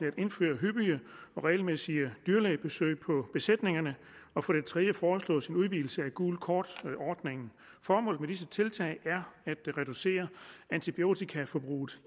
at indføre hyppige og regelmæssige dyrlægebesøg på besætningerne og for det tredje foreslås en udvidelse af gult kort ordningen formålet med disse tiltag er at reducere antibiotikaforbruget